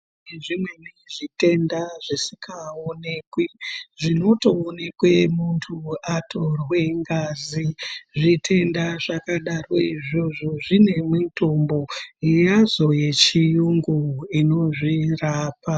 Zvimweni zvitenda zvisingaonekwi zvinotoonekwe muntu atorwe ngazi. Zvitend zvakadaro zvona izvozvo zvine mutombo yazvo yechiyungu inozvirapa.